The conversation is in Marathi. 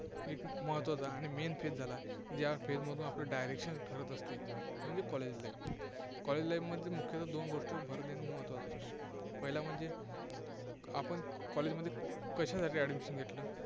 एक महत्त्वाचं आणि main phase ज्या Phase मधून आपलं direction ठरत असते, म्हणजे college life college life मध्ये मुख्यतः दोन गोष्टींवर भर देणं महत्त्वाचं असतं. पहिला म्हणजे आपण College मध्ये कशासाठी admission घेतलं?